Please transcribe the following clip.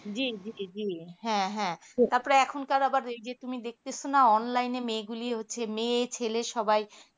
জি জি জি হ্যা হ্যা হ্যা তারপর এখনকার তুমি দেখতেছো না online মেয়ে গুলি হচ্ছে মেয়ে ছেলের সবাই